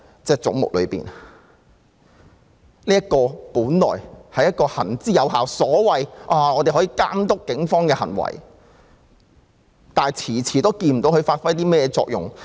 這本是一個行之有效、負責監督警方行為的機構，但卻遲遲看不到它發揮了甚麼作用。